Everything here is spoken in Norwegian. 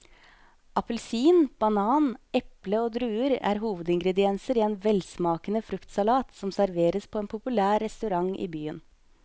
Appelsin, banan, eple og druer er hovedingredienser i en velsmakende fruktsalat som serveres på en populær restaurant i byen.